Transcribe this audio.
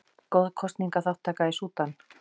Góð kosningaþátttaka í Súdan